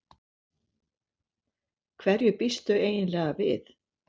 Hverju býstu eiginlega við?